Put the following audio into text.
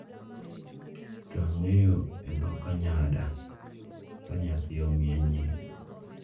to ang'eyo e dho Kanyada ka nyathi omiye nying,